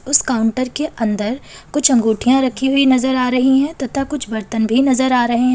उस काउंटर के अंदर कुछ अंगूठियां रखी हुई नजर आ रही हैं तथा कुछ बर्तन भी नजर आ रहे हैं।